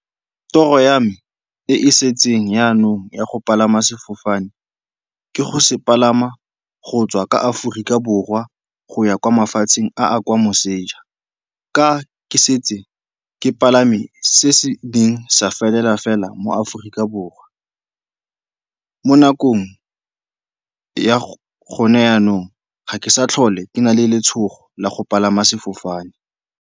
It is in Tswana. Toro ya me e setseng jaanong ya go palama sefofane ke go se palama go tswa ka Aforika Borwa go ya kwa mafatsheng a kwa moseja. Ka ke setse ke palame se se neng sa felela fela mo Aforika Borwa. Mo nakong ya gone jaanong ga ke sa tlhole ke na le letshogo la go palama sefofane.